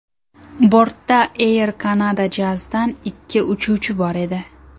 Bortda Air Canada Jazz’dan ikki uchuvchi bor edi.